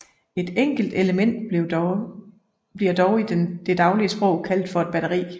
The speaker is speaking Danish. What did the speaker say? Et enkelt element bliver dog i det daglige sprog kaldt for et batteri